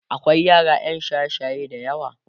akwai yara ƴan shaye shaye da yawa